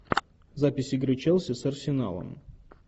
запись игры челси с арсеналом